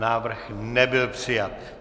Návrh nebyl přijat.